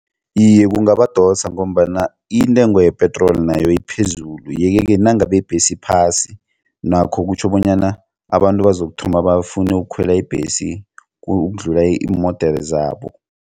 Iye, kungabadosa ngombana intengo yepetroli nayo iphezulu yeke ke nangabe ibhesi iphasi nakho kutjho bonyana abantu bazokuthoma bafune ukukhwela ibhesi ukudlula iimodere zabo.